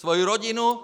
Svoji rodinu!